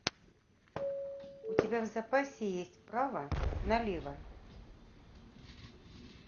у тебя в запасе есть право налево